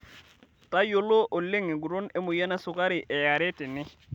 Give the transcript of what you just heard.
Tayiolo oleng enguton emoyian esukari eare tene.